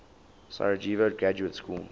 sarajevo graduate school